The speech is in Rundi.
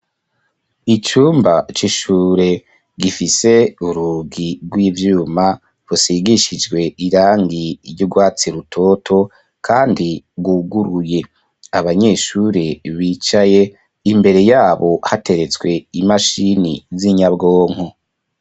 Icumba c'ishure, gifise urugi rw’ivyuma, rusigishijwe irangi, ry'urwatsi rutoto, kandi rwuguruye; abanyeshure bicaye, imbere yabo, hateretswe imashini, z'inyabwonko.